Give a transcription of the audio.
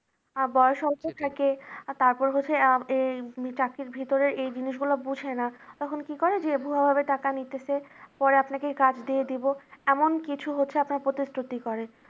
বয়স অল্প থাকে আর তারপর হচ্ছে চাকরির ভেতরে এই জিনিসগুলো বোঝে না, তখন কি করে যে ভূয়া ভাবে টাকা নিতেছে পরে আপনাকে কাজ দিয়ে দিব এমন কিছু হচ্ছে আপনার প্রতিশ্রুতি করে।